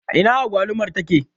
Ina agwalumar take?